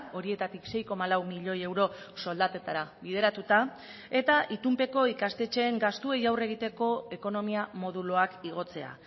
horietatik sei koma lau milioi euro soldatetara bideratuta eta itunpeko ikastetxeen gastuei aurre egiteko ekonomia moduloak igotzea